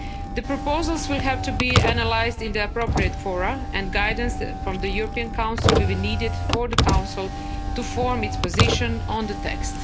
The proposals will have to be analysed in the appropriate fora, and guidance from the European Council will be needed for the Council to form its position on the